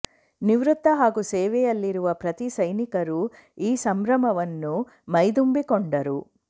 ನಿವೃತ್ತ ಹಾಗೂ ಸೇವೆಯಲ್ಲಿರುವ ಪ್ರತೀ ಸೈನಿಕರೂ ಈ ಸಂಭ್ರಮವನ್ನು ಮೈದುಂಬಿಕೊಂಡರು